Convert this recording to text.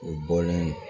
U bɔlen